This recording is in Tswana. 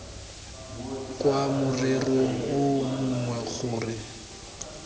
kwa morerong o mongwe gore